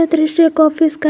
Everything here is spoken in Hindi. दृश्य एक ऑफिस का--